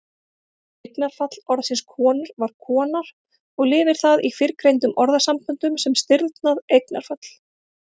Eignarfall orðsins konur var konar og lifir það í fyrrgreindum orðasamböndum sem stirðnað eignarfall.